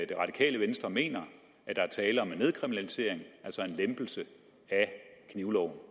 det radikale venstre mener at der er tale om nedkriminalisering altså en lempelse af knivloven